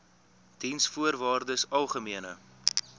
diensvoorwaardesalgemene